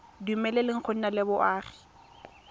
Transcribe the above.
dumeleleng go nna le boagi